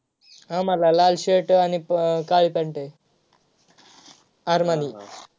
आम्हाला लाल shirt आणि काळी pant आहे. आरमानी